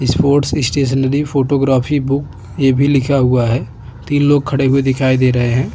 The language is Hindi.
यह एक बुकस्टोर दिखाई दे रहा है जिसपे श्री हिंगराज़ बुक डिपो लिखा हुआ है।